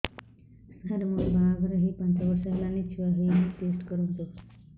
ସାର ମୋର ବାହାଘର ହେଇ ପାଞ୍ଚ ବର୍ଷ ହେଲାନି ଛୁଆ ହେଇନି ଟେଷ୍ଟ କରନ୍ତୁ